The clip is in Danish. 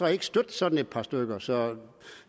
og ikke støtte sådan et par stykker så jeg